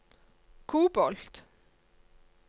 kobolt